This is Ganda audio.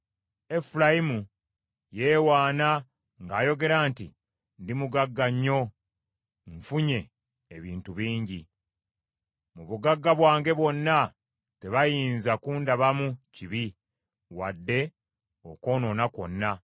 Efulayimu yeewaana ng’ayogera nti, “Ndi mugagga nnyo, nfunye ebintu bingi. Mu bugagga bwange bwonna, tebayinza kundabamu kibi wadde okwonoona kwonna.”